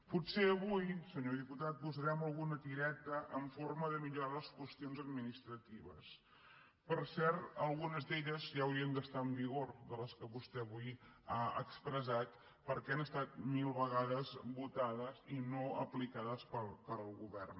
potser avui senyor diputat posarem alguna tireta en forma de millorar les qüestions administratives per cert algunes d’elles ja haurien d’estar en vigor de les que vostè avui ha expressat perquè han estat mil vegades votades i no aplicades pel govern